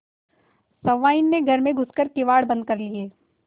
सहुआइन ने घर में घुस कर किवाड़ बंद कर लिये